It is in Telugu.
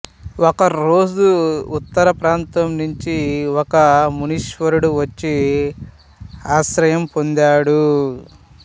ఒక రోజు ఉత్తర ప్రాంతం నుంచి ఒక మునీశ్వరుడు వచ్చి ఆశ్రయం పొందాడు